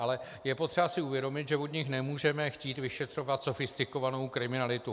Ale je potřeba si uvědomit, že od nich nemůžeme chtít vyšetřovat sofistikovanou kriminalitu.